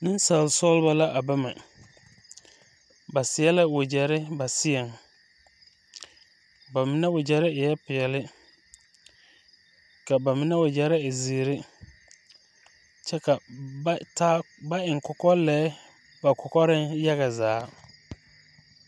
Nensaalsɔglɔ la a ba mɛ ba seɛ la wagyɛre ba seɛŋ ba mine wagyɛre e la peɛlle ka ba mine wagyɛre e zeere kyɛ ka ba taa ba eŋ kɔkɔlɛɛ ba kɔkɔreŋ yaga zaa.